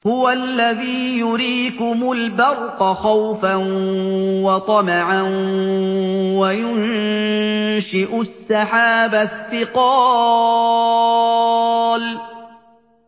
هُوَ الَّذِي يُرِيكُمُ الْبَرْقَ خَوْفًا وَطَمَعًا وَيُنشِئُ السَّحَابَ الثِّقَالَ